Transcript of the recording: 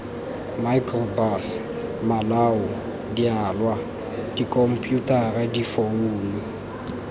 microbus malao dialwa dikhomputara difounu